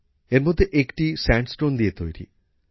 এর মধ্যে একটি স্যান্ডস্টোন দিয়ে তৈরি